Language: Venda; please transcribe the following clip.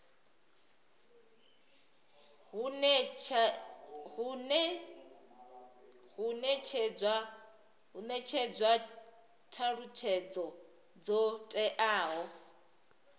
hu netshedzwa thalutshedzo dzo teaho